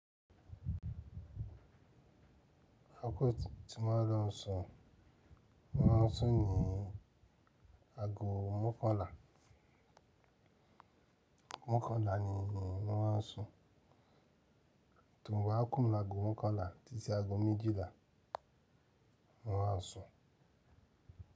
Akoko ti mo máa ń lọ sun, mo máa ń sun ní ago mọ́kànlá. Mọ́kànlá ni enì ma wa sun. Tò run ba á kún mi l’ago mọ́kànlá títí ago méjìlá, ma á sun.